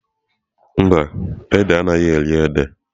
Mba, o édè a anaghị eri ede.